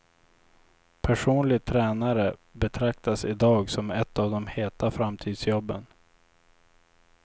Personlig tränare betraktas i dag som ett av de heta framtidsjobben.